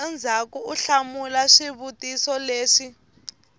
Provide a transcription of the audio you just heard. endzhaku u hlamula swivutiso leswi